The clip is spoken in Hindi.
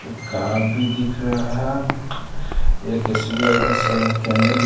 कार भी दिख रहा ह एक एस_बी_आई का सेवा केंद्र भी --